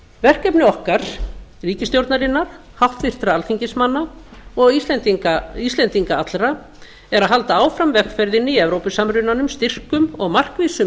verkefni okkar ríkisstjórnarinnar háttvirtra alþingismanna og íslendinga allra er að halda áfram vegferðinni í evrópusamrunanum styrkum og markvissum